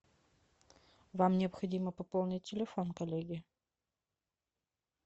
вам необходимо пополнить телефон коллеге